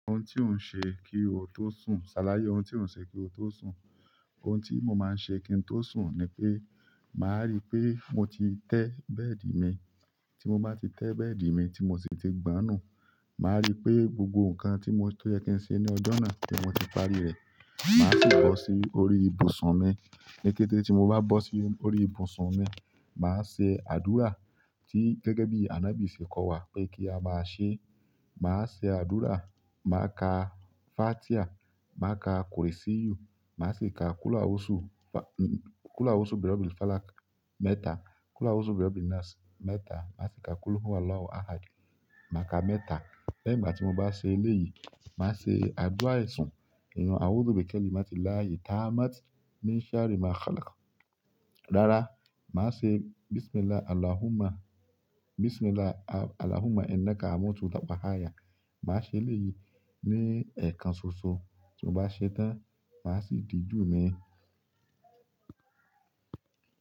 Ohun tí ó ń ṣe kí ó tó sùn, ṣàlàyé ohun tí ó ń ṣe kí ó tó sùn. Ohun tí mo máa ń ṣe kí n tó sùn ni pé màá rí pé mo ti tẹ́ bẹ́ẹ̀dì mi. Tí mo bá ti tẹ́ bẹ́ẹ̀dì mi tí mo sì ti gbonùú, màá rí pé gbogbo nǹkan ti oyẹ kí n ṣe ní ọjọ́ náà ni mo ti parí rẹ̀. Màá sì bọ́ sí orí ibùsùn mi. Ní kété tí mo bá bọ́ sí orí ibùsùn mi, màá ṣe àdúrà tí gẹ́gẹ́ bí ànábì ṣe kọ́ wa pé kí a máa ṣe. Màá ṣe àdúrà, màá ka Fátíà, màá ka Qul'u Arsu, màá ṣe ka Qul'u Arsu bi ro bi Falak mẹ́ta, Qul'u Arsu bi ro bi Nas mẹ́ta, màá ṣe ka Qul'u Huwallahu Ahad màá ka mẹ́ta. Lẹ́yìn ìgbà tí mo bá ṣe eléyìí, màá ṣe àdúrà isùn, "iyen awuso bekeli mati laahi ta mati ni saari ma khalaka." Rárá, màá ṣe "Bismillah Allahumma inna ka mutu wa bahaya." Màá ṣe eléyìí ní ẹ̀kan ṣoṣo. Tí mo bá ṣe tán, màá sì dijú mi.